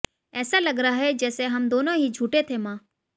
ऐसा लग रहा है जैसे हम दोनों ही झूठे थे मां